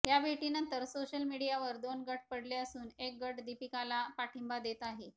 या भेटीनंतर सोशल मीडियावर दोन गट पडले असून एक गट दीपिकाला पाठींबा देत आहे